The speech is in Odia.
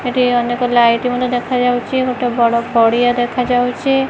ଏଠି ଅନେକ ଲାଇଟ୍ ମଧ୍ୟ ଦେଖା ଯାଉଚି ଗୋଟେ ବଡ଼ ପଡ଼ିଆ ଦେଖା ଯାଉଚି ।